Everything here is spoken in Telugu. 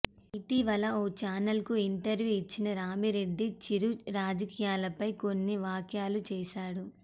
ఇటీవల ఓ చానల్ కు ఇంటర్వ్యూ ఇచ్చిన రామిరెడ్డి చిరు రాజకీయాలపై కొన్ని వాఖ్యలు చేశాడు